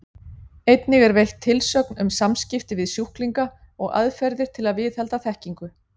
Einnig er veitt tilsögn um samskipti við sjúklinga og aðferðir til að viðhalda þekkingu.